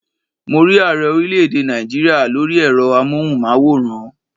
Mo rí ààrẹ orílẹ̀ èdè Náìjíríà lórí ẹ̀rọ amóhùnmáwòrán